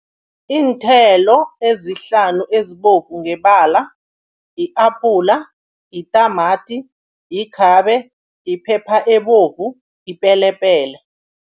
Iinthelo ezihlanu ezibovu ngebala, i-apula, yitamati, yikhabe, yiphepha ebovu, yipelepele.